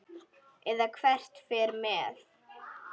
Eða hver fer með.